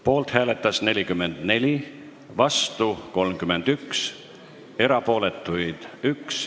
Poolt hääletas 44 ja vastu 31 Riigikogu liiget, erapooletuid oli 1.